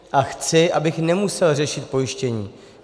A chci, abych nemusel řešit pojištění.